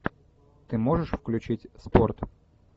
ты можешь включить спорт